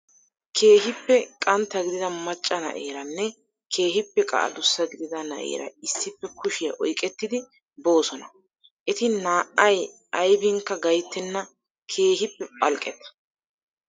Keehippe qantta gidida macca na''eeranne keehippe qa adussa gidida na''eera issippe kushiyaa oyiqettidi boosona. Eti naa''ay ayibinkka gayttenna keehippe phalqqetta.